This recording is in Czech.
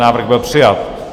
Návrh byl přijat.